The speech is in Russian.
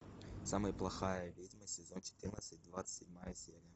самая плохая ведьма сезон четырнадцать двадцать седьмая серия